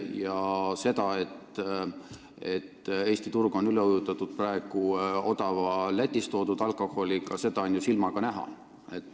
Ja seda, et Eesti turg on praegu odava Lätist toodud alkoholiga üle ujutatud, on ju silmaga näha.